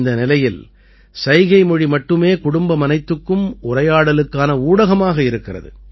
இந்த நிலையில் சைகைமொழி மட்டுமே குடும்பமனைத்துக்கும் உரையாடலுக்கான ஊடகமாக இருக்கிறது